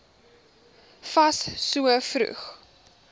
fas so vroeg